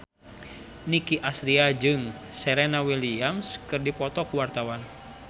Nicky Astria jeung Serena Williams keur dipoto ku wartawan